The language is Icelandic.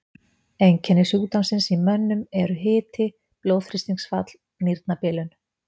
Einkenni sjúkdómsins í mönnum eru hiti, blóðþrýstingsfall, nýrnabilun.